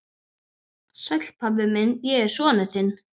Fyrst hellum við uppá og fáum okkur kaffitár.